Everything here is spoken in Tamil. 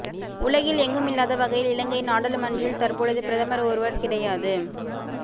உலகில் எங்குமில்லாத வகையில் இலங்கையின் நாடாளுமன்றில் தற்பொழுது பிரதமர் ஒருவர் கிடையாது